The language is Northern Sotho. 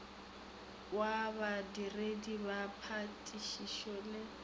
wa badiredi ba phatišišo le